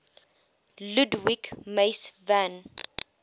ludwig mies van